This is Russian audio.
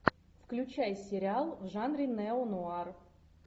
включай сериал в жанре неонуар